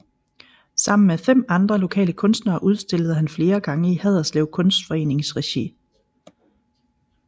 Sammen med fem andre lokale kunstnere udstillede han flere gange i Haderslev Kunstforenings regi